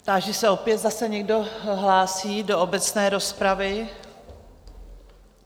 Táži se opět, zda se někdo hlásí do obecné rozpravy?